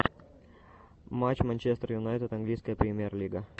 матч манчестер юнайтед английская премьер лига